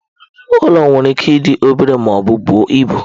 Ụlọ nwere ike ịdị obere ma ọ bụ buo ibu.